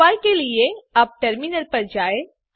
उपाय के लिए अब टर्मिनल पर जाएँ